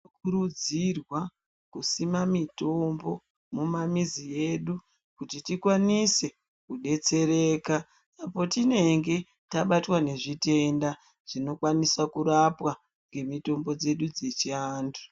Tinokurudzirwa kusima mitombo mumamizi edu kuti tikwanise kudetsereka petinenge tabatwa ngezvitenda zvinokwanisa kurapwa ngemitombo dzedu dzechiantu.